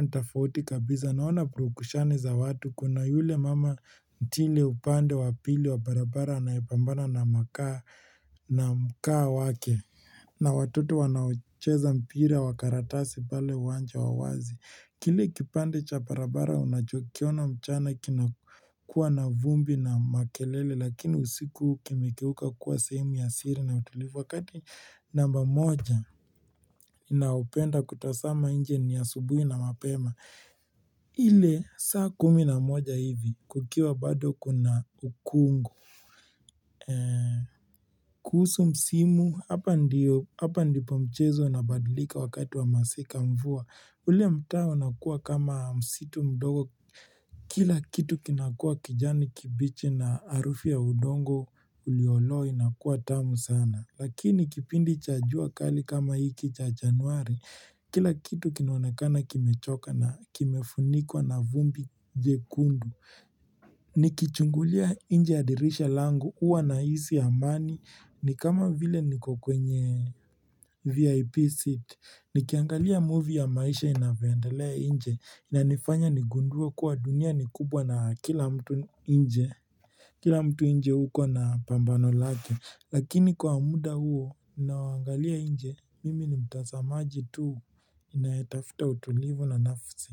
ni tofauti kabisa. Naona purukushani za watu, kuna yule mama mtire upande wa pili wa barabara anayepambana na mkaa wake na watoto wanaocheza mpira wa karatasi pale wanja wa wazi. Kile kipande cha barabara unachokiona mchana kina kuwa na vumbi na makelele lakini, usiku kimekeuka kuwa sehemu ya siri na utulivu. Wakati namba moja ninayopenda kutazama nje ni asubuhi na mapema ile saa kumi na moja hivi, kukiwa bado kuna ukungu kuhusu msimu, hapa ndipo mchezo inabadilika wakati wa masika mvua. Ule mtaa unakuwa kama msitu mdogo, kila kitu kinakuwa kijani kibichi na harufu ya udongo ulioloa inakuwa tamu sana. Lakini kipindi cha jua kali kama hiki cha januari, kila kitu kinaonekana kimechoka na kimefunikwa na vumbi jekundu Nikichungulia nje ya dirisha langu, huwa nahisi amani ni kama vile niko kwenye VIP seat, nikiangalia movie ya maisha inavyoendelea nje, inanifanya nigundue kuwa dunia ni kubwa na kila mtu nje kila mtu nje huko ana pambano lake. Lakini kwa muda huo ninaoangalia nje, mimi ni mtazamaji tu anayetafuta utulivu na nafsi.